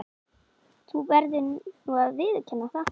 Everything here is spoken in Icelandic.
Þú verður nú að viðurkenna það.